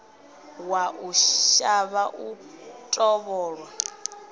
wa u shavha u tovholwa